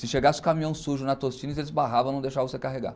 Se chegasse o caminhão sujo na Tostines, eles barravam, não deixavam você carregar.